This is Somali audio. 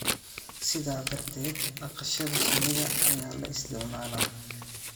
Sidaa darteed, dhaqashada shinnida ayaa la isticmaalaa